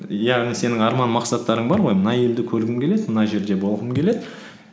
яғни сенің арман мақсаттарың бар ғой мына елді көргім келеді мына жерде болғым келеді